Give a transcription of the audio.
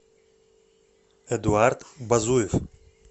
эдуард базуев